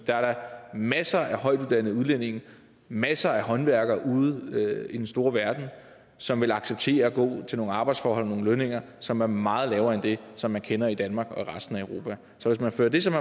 der er da masser af højtuddannede udlændinge masser af håndværkere ude i den store verden som vil acceptere at gå til nogle arbejdsforhold og nogle lønninger som er meget lavere end det som man kender i danmark og resten af europa så hvis man førte det som